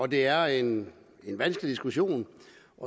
det er en vanskelig diskussion